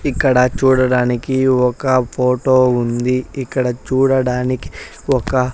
ఇక్కడ చూడడానికి ఒక ఫోటో ఉంది ఇక్కడ చూడడానికి ఒక.